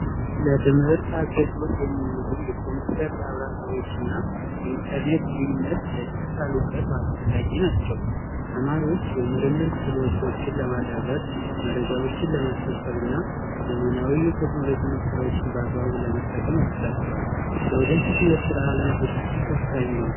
ለትምህርት አገልግሎት የሚውሉ የኮምፒውተር ላብራቶሮችና የኢንተርኔት አስፈላጊ ናቸው ተማሪዎች የምርምር ክሎቶችን ለማዳበር መረጃዎችን ለመሰብሰብና ዘመናዊ የቴክኖሎጂ መሰረት ለመጠቀም ያስቻችኋል ዘውዴ ፊቱ የስራ ዓለም ዝግጅት ወሳኝ ነው